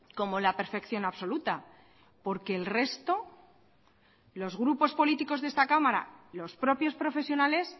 como la perfección absoluta porque el resto los grupos políticos de esta cámara los propios profesionales